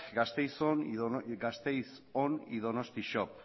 gasteiz on y donostia shop